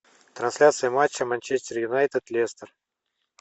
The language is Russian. трансляция матча манчестер юнайтед лестер